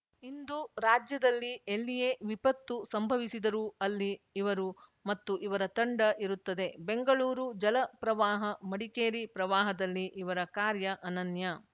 ಇಂದು ರಾಜ್ಯದಲ್ಲಿ ಎಲ್ಲಿಯೇ ವಿಪತ್ತು ಸಂಭವಿಸಿದರೂ ಅಲ್ಲಿ ಇವರು ಮತ್ತು ಇವರ ತಂಡ ಇರುತ್ತದೆ ಬೆಂಗಳೂರು ಜಲ ಪ್ರವಾಹ ಮಡಿಕೇರಿ ಪ್ರವಾಹದಲ್ಲಿ ಇವರ ಕಾರ್ಯ ಅನನ್ಯ